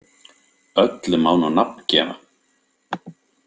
Öllu má nú nafn gefa.